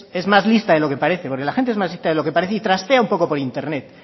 es más lista de lo que parece porque la gente es más lista de lo que parece y trastea un poco por internet